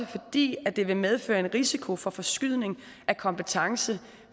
fordi det vil medføre en risiko for forskydning af kompetence